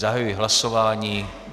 Zahajuji hlasování.